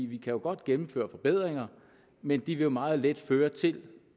vi kan godt gennemføre forbedringer men de vil meget let føre til